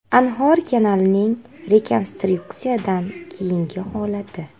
Anhor kanalining rekonstruksiyadan keyingi holati.